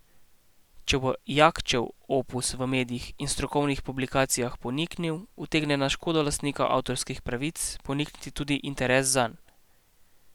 Če bo Jakčev opus v medijih in strokovnih publikacijah poniknil, utegne na škodo lastnika avtorskih pravic ponikniti tudi interes zanj.